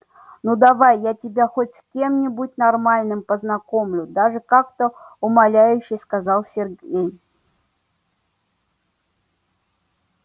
ну давай я тебя хоть с кем-нибудь нормальным познакомлю даже как-то умоляюще сказал сергей